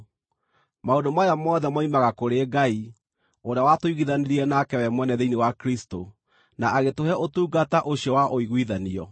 Maũndũ maya mothe moimaga kũrĩ Ngai, ũrĩa watũiguithanirie nake we mwene thĩinĩ wa Kristũ, na agĩtũhe ũtungata ũcio wa ũiguithanio: